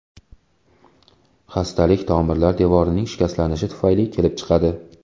Xastalik tomirlar devorining shikastlanishi tufayli kelib chiqadi.